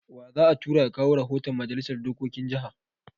Wa za a tura ya kawo rahoton Majalisar dokokin jaha?